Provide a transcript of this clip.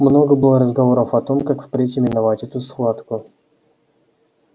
много было разговоров о том как впредь именовать эту схватку